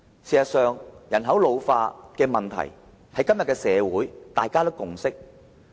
事實上，人口老化的問題，在今天的社會上已有共識。